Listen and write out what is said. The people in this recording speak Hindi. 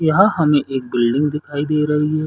यहाँ हमें एक बिल्डिंग दिखाई दे रही है।